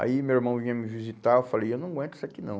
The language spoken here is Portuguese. Aí meu irmão vinha me visitar, eu falei, eu não aguento isso aqui não.